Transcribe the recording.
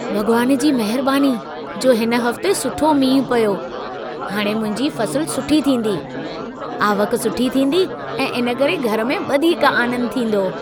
भॻवान जी महरबानी जो हिन हफ़्ते सुठो मींहुं पियो। हाणे मुंहिंजी फ़सलु सुठी थींदी, आवक सुठी थींदी ऐं इन करे घर में वधीक आनंद थींदो।